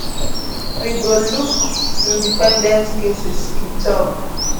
we go go look independent cases e tok